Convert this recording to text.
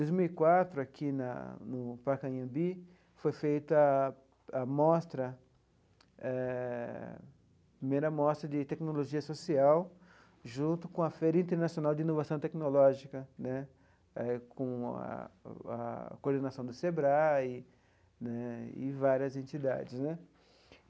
Dois mil e quatro, aqui na no Parque Anhembi, foi feita a a mostra, eh a primeira mostra de tecnologia social, junto com a Feira Internacional de Inovação Tecnológica né, com a a coordenação do SEBRAE né e várias entidades né